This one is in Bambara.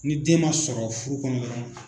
Ni den ma sɔrɔ furu kɔnɔ dɔrɔn.